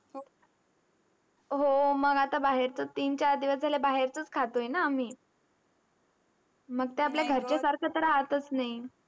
हो मग आता बाहेरचं तीन-चार दिवस झाले बाहेरचंच खातोय ना आम्ही. मग ते आपल्या घरच्यासारखं तर राहतच नाही.